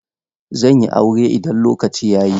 Zan yi aure idan lokaci ya yi.